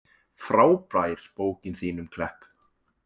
Frábær bókin þín um Klepp.